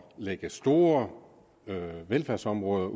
lægge store velfærdsområder